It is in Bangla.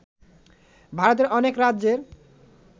ভারতের অনেক রাজ্যের